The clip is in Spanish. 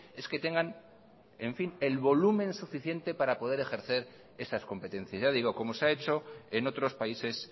es que tengan el volumen suficiente para poder ejercer esas competencias ya digo como se ha hecho en otros países